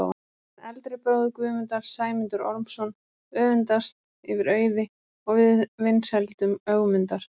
En eldri bróðir Guðmundar, Sæmundur Ormsson, öfundast yfir auði og vinsældum Ögmundar.